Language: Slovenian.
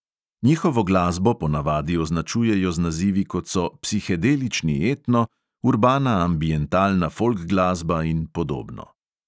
Njihovo glasbo ponavadi označujejo z nazivi, kot so "psihedelični etno", "urbana ambientalna folk glasba" in podobno.